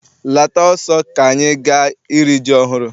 Lata ọsọ ka anyị gaa iri ji ọhụụ!